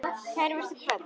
Kært vertu kvödd.